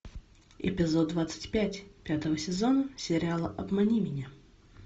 эпизод двадцать пять пятого сезона сериала обмани меня